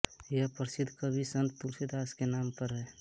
यह प्रसिद्ध कवि संत तुलसीदास के नाम पर है